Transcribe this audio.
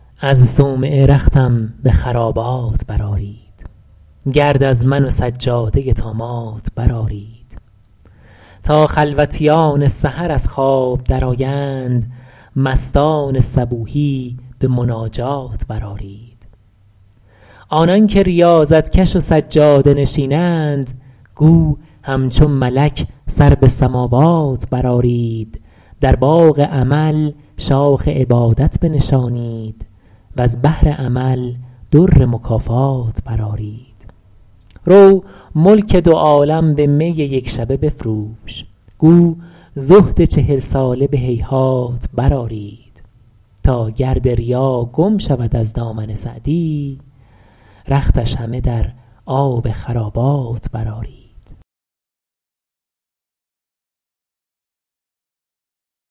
از صومعه رختم به خرابات برآرید گرد از من و سجاده طامات برآرید تا خلوتیان سحر از خواب درآیند مستان صبوحی به مناجات برآرید آنان که ریاضت کش و سجاده نشینند گو همچو ملک سر به سماوات برآرید در باغ امل شاخ عبادت بنشانید وز بحر عمل در مکافات برآرید رو ملک دو عالم به می یکشبه بفروش گو زهد چهل ساله به هیهات برآرید تا گرد ریا گم شود از دامن سعدی رختش همه در آب خرابات برآرید